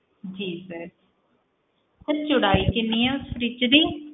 sir ਚੌੜਾਈ ਕਿੰਨੀ ਆ fridge ਦੀ